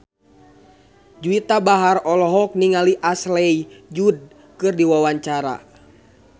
Juwita Bahar olohok ningali Ashley Judd keur diwawancara